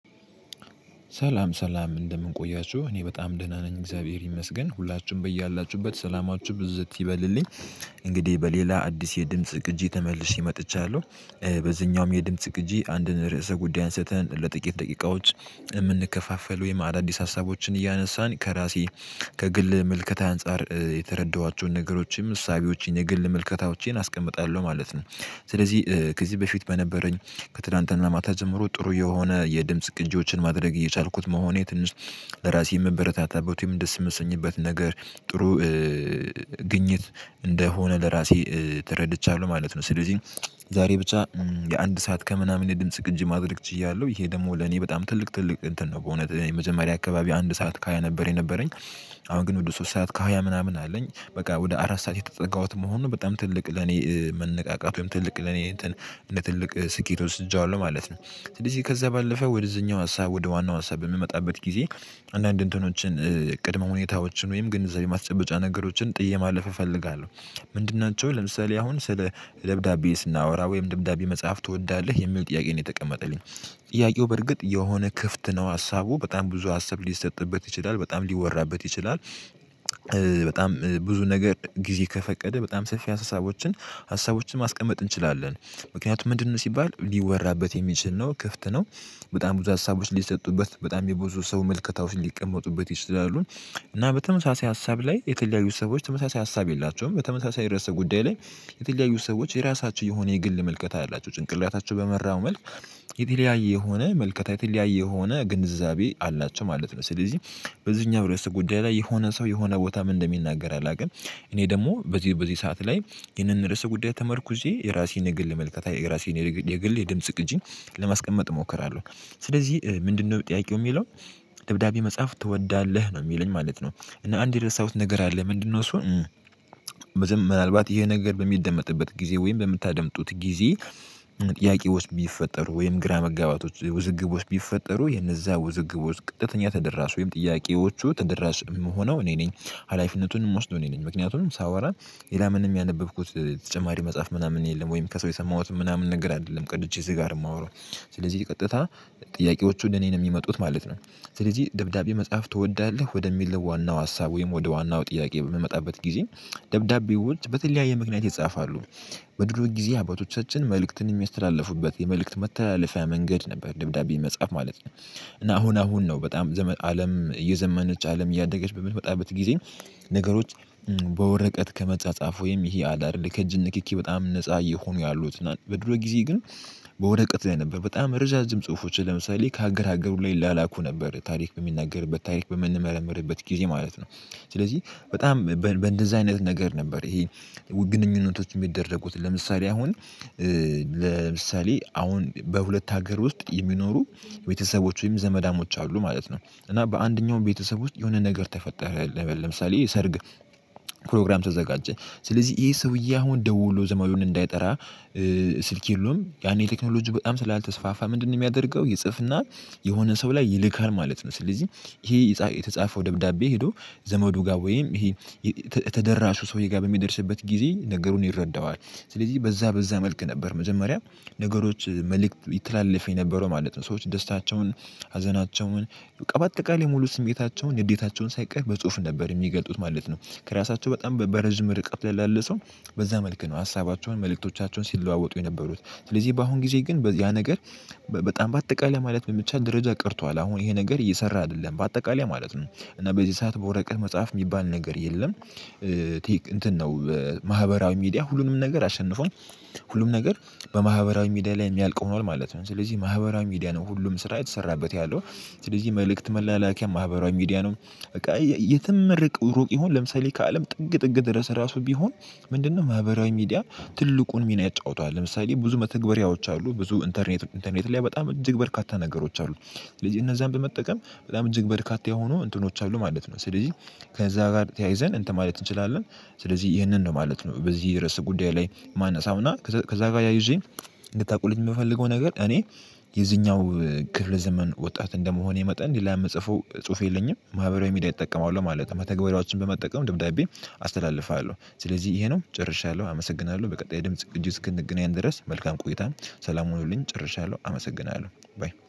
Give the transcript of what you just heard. ሰላም ሰላም እንደምን ቆያችሁ? እኔ በጣም ደህና ነኝ እግዚአብሔር ይመስገን። ሁላችሁም በያላችሁበት ሰላማችሁ ብዝት ይበልልኝ። እንግዲህ በሌላ አዲስ የድምጽ ግጂ ተመልሼ መጥቻለሁ። በዚህኛውም የድምጽ ቂጂ አንድን ርዕሰ ጉዳይ አንስተን ለጥቂት ደቂቃዎች የምንከፋፈለው የመአድ አዲስ ሀሳቦችን እያነሳን ከራሴ ከግል መልከታ አንፃር የተረዳኋቸውን ነገሮችን እሳቤዎችን የግል ምልከታዎችን አስቀምጣለሁ ማለት ነው። ስለዚህ ከዚህ በፊት በነበረኝ ከትላንትና ማታ ጀምሮ ጥሩ የሆነ የድምጽ ግንጆችን ማድረግ እየቻልኩት መሆኔ ትንሽ ለራሴ የምበረታታበት ወይም ደስ የምሰኝበት ነገር ጥሩ ግኝት እንደሆነ ለራሴ ተረድቻለሁ ማለት ነው። ስለዚህ ዛሬ ብቻ የአንድ ሰዓት ከምናምን ድምጽ ግንጅ ማድረግ ችያለሁ። ይሄ ደግሞ ለኔ በጣም ትልቅ ትልቅ እንትን ነው በእውነት የመጀመሪያ አካባቢ አንድ ሰዓት ካልነበረ የነበረኝ አሁን ግን ወደ ሶስት ሰዓት ካህያ ምናምን አለኝ። በቃ ወደ አራት ሰዓት የተጠጋሁት መሆኑን በጣም ትልቅ ለኔ መነቃቃት ወይም ትልቅ ለኔ እንትን እንደ ትልቅ ስኬት ወስጃለሁ ማለት ነው። ስለዚህ ከዛ ባለፈ ወደዚህኛው ሀሳብ ወደ ዋናው ሀሳብ በምመጣበት ጊዜ አንዳንድ እንትኖችን፣ ቅድመ ሁኔታዎችን ወይም ግንዛቤ ማስጨበጫ ነገሮችን ጥዬ ማለፍ እፈልጋለሁ። ምንድን ናቸው? ለምሳሌ አሁን ስለ ደብዳቤ ስናወራ ወይም ደብዳቤ መጽሐፍ ትወዳለህ የሚል ጥያቄ ነው የተቀመጠልኝ። ጥያቄው በርግጥ የሆነ ክፍት ነው ሀሳቡ በጣም ብዙ ሀሳብ ሊሰጥበት ይችላል በጣም ሊወራበት ይችላል። በጣም ብዙ ነገር ጊዜ ከፈቀደ በጣም ሰፊ ሀሳቦችን፣ ሀሳቦችን ማስቀመጥ እንችላለን። ምክንያቱም ምንድነው ሲባል ሊወራበት የሚችል ነው፣ ክፍት ነው። በጣም ብዙ ሀሳቦች ሊሰጡበት በጣም የብዙ ሰው መልከታው ሊቀመጡበት ይችላሉ። እና በተመሳሳይ ሀሳብ ላይ የተለያዩ ሰዎች ተመሳሳይ ሀሳብ የላቸውም። በተመሳሳይ ርዕሰ ጉዳይ ላይ የተለያዩ ሰዎች የራሳቸው የሆነ የግል መልከታ አላቸው። ጭንቅላታቸው በመራው መልክ የተለያየ የሆነ ምልከታ የተለያየ የሆነ ግንዛቤ አላቸው ማለት ነው። ስለዚህ በዚህኛው የውስጥ ጉዳይ ላይ የሆነ ሰው የሆነ ቦታ ምን እንደሚናገር አላውቅም። እኔ ደግሞ በዚህ በዚህ ሰዓት ላይ ይህንን ርዕሰ ጉዳይ ተመርኩዜ የራሴን የግል ምልከታ፣ የራሴን የግል የድምጽ ቅጂን ለማስቀመጥ እሞክራለሁ። ስለዚህ ምንድነው ጥያቂው የሚለው? ደብዳቤ መጽሐፍ ትወዳለህ? ነው የሚለኝ ማለት ነው። እና አንድ የደረሳሁት ነገር አለ። ምንድነው እሱ? ምን ምናልባት ይሄ ነገር በሚደመጥበት ጊዜ ወይም በምታደምጡት ጊዜ ጥያቄዎች ቢፈጠሩ ወይም ግራ መጋባቶች፣ ውዝግቦች ውስጥ ቢፈጠሩ የነዛ ውዝግቦች ውስጥ ቀጥተኛ ተደራሹ ወይም ጥያቄዎቹ ተደራሽ የምሆነው እኔ ነኝ፣ ሀላፊነቱን የምወስደው እኔ ነኝ። ምክንያቱም ሳወራ ሌላ ምንም ያነበብኩት ተጨማሪ መጽሐፍ ምናምን የለም፣ ወይም ከሰው የሰማሁትም ምናምን ነገር አይደለም ቀድቼ እዚህ ጋር የማወራው። ስለዚህ ቀጥታ ጥያቄዎቹ ለኔ ነው የሚመጡት ማለት ነው። ስለዚህ ደብዳቤ መጻፍ ትወዳለህ? ወደሚለው ዋናው ሀሳብ ወይም ወደ ዋናው ጥያቄ በምመጣበት ጊዜ ደብዳቤዎች በተለያየ ምክንያት ይጻፋሉ። በድሮ ጊዜ አባቶቻችን መልእክትን የሚያስተላልፉበት የመልእክት መተላለፊያ መንገድ ነበር ደብዳቤ መጻፍ ማለት ነው። እና አሁን አሁን ነው በጣም ዘመን፣ አለም እየዘመነች አለም እያደገች በምትመጣበት ጊዜ ነገሮች በወረቀት ከመጻጻፍ፣ ወይም ይሄ አለ አይደል? ከእጅ ንክኪ በጣም ነፃ እየሆኑ ያሉት፣ እና በድሮ ጊዜ ግን በወረቀት ላይ ነበር በጣም ረዣዥም ጽሁፎች፣ ለምሳሌ ከሀገር ሀገር ሁላ ይላላኩ ነበር ታሪክ በሚናገር በታሪክ በምንመረምርበት ጊዜ ማለት ነው። ስለዚህ በጣም በእንደዚህ አይነት ነገር ነበር ይሄ ግንነቶች የሚደረጉት። ለምሳሌ አሁን ለምሳሌ አሁን በሁለት ሀገር ውስጥ የሚኖሩ ቤተሰቦች ወይም ዘመዳሞች አሉ ማለት ነው እና በአንደኛው ቤተሰብ ውስጥ የሆነ ነገር ተፈጠረ፣ ለምሳሌ የሰርግ ፕሮግራም ተዘጋጀ። ስለዚህ ይሄ ሰውዬ አሁን ደውሎ ዘመዱን እንዳይጠራ ስልክ የለውም። ያኔ ቴክኖሎጂ በጣም ስላልተስፋፋ ምንድነው የሚያደርገው? ይጽፍና የሆነ ሰው ላይ ይልካል ማለት ነው። ስለዚህ ይሄ የተጻፈው ደብዳቤ ሄዶ ዘመዱ ጋር ወይም ይሄ የተደራሹ ሰውዬ ጋር በሚደርስበት ጊዜ ነገሩን ይረዳዋል። ስለዚህ በዛ በዛ መልክ ነበር መጀመሪያ ነገሮች መልእክት ይተላለፍ የነበረው ማለት ነው። ሰዎች ደስታቸውን፣ ሀዘናቸውን፣ በአጠቃላይ ሙሉ ስሜታቸውን፣ ንዴታቸውን ሳይቀር በጽሁፍ ነበር የሚገጡት ማለት ነው። ከራሳቸው በጣም በረዥም ርቀት ላለ ሰው በዛ መልኩ ነው ሀሳባቸውን መልእክቶቻቸውን ሲለዋወጡ የነበሩት። ስለዚህ በአሁን ጊዜ ግን ያ ነገር በጣም በአጠቃላይ ማለት በሚቻል ደረጃ ቀርቷል። አሁን ይሄ ነገር እየሰራ አይደለም በአጠቃላይ ማለት ነው። እና በዚህ ሰዓት በወረቀት መጽሐፍ የሚባል ነገር የለም። እንትን ነው፣ ማህበራዊ ሚዲያ ሁሉንም ነገር አሸንፏል። ሁሉም ነገር በማህበራዊ ሚዲያ ላይ የሚያልቅ ሆኗል ማለት ነው። ስለዚህ ማህበራዊ ሚዲያ ነው ሁሉም ስራ የተሰራበት ያለው። ስለዚህ መልእክት መላላኪያ ማህበራዊ ሚዲያ ነው። በቃ የትም ርቅ፣ ሩቅ ይሁን ለምሳሌ ከአለም ጥግ ጥግ ድረስ ራሱ ቢሆን ምንድነው ማህበራዊ ሚዲያ ትልቁን ሚና ይጫወተዋል። ለምሳሌ ብዙ መተግበሪያዎች አሉ። ብዙ ኢንተርኔት፣ ኢንተርኔት ላይ በጣም እጅግ በርካታ ነገሮች አሉ ስለዚህ እነዛን በመጠቀም በጣም እጅግ በርካታ የሆኑ እንትኖች አሉ ማለት ነው። ስለዚህ ከዛ ጋር ተያይዘን እንትን ማለት እንችላለን። ስለዚህ ይህንን ነው ማለት ነው በዚህ የርዕስ ጉዳይ ላይ ማነሳውና ከዛ ጋር ያዩዜን እንድታውቁልኝ የምፈልገው ነገር እኔ የዚኛው ክፍለ ዘመን ወጣት እንደመሆኔ መጠን ሌላ ምጽፈው ጽሁፍ የለኝም። ማህበራዊ ሚዲያ እጠቀማለው ማለት ነው። መተግበሪያዎችን በመጠቀም ድምዳቤ አስተላልፋለሁ ስለዚህ ይሄ ነው። ጨርሻለሁ፣ አመሰግናለሁ፤ በቀጣይ ድምጽ ቅጁ እስክንገናኝ ድረስ መልካም ቆይታን። ሰላም ሆኖልኝ ጨርሻለሁ። አመሰግናለሁ። ባይ።